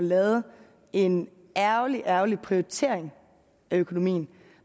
lavede en ærgerlig ærgerlig prioritering af økonomien